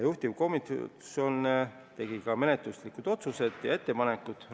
Juhtivkomisjon tegi ka mitu menetluslikku otsust ja ettepanekut.